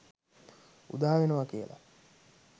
උදා වෙනවා කියලා.